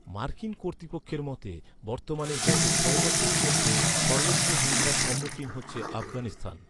মার্কিন কর্তৃপক্ষের মতে, বর্তমানে, গত ছয় বছরের মধ্যে সর্বোচ্চ হিংসার সম্মুখীন হচ্ছে আফগানিস্তান।